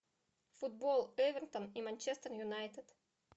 футбол эвертон и манчестер юнайтед